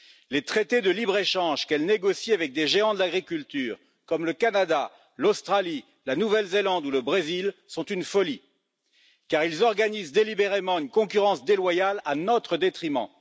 Les traités de libre échange que l'Union négocie avec des géants de l'agriculture, comme le Canada, l'Australie, la Nouvelle Zélande ou le Brésil sont une folie, car ils organisent délibérément une concurrence déloyale à notre détriment.